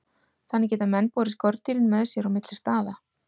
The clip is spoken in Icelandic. Þannig geta menn borið skordýrin með sér á milli staða.